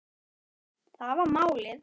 Það var málið.